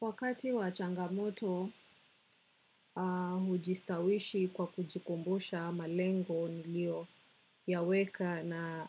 Wakati wa changamoto, hujistawishi kwa kujikumbusha, malengo niliyoyaweka na